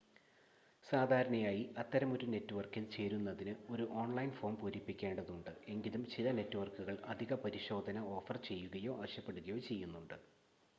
സാധാരണയായി അത്തരമൊരു നെറ്റ്‌വർക്കിൽ ചേരുന്നതിന് ഒരു ഓൺലൈൻ ഫോം പൂരിപ്പിക്കേണ്ടതുണ്ട് എങ്കിലും ചില നെറ്റ്‌വർക്കുകൾ അധിക പരിശോധന ഓഫർ ചെയ്യുകയോ ആവശ്യപ്പെടുകയോ ചെയ്യുന്നുണ്ട്